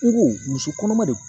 N ko muso kɔnɔma de